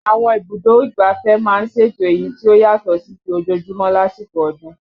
Àwọn ibùdó ìgbáfẹ́ máa ń ṣètò èyí tí ó yàtọ̀ sí ti ojoojúmọ́ lásìkò ọdún